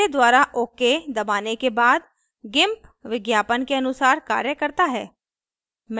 मेरे द्वारा ok दबाने के बाद gimp विज्ञापन के अनुसार कार्य करता है